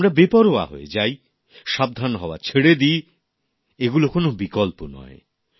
আমরা বেপরোয়া হয়ে যাই সাবধান হওয়া ছেড়ে দি এইগুলো কোন বিকল্প নয়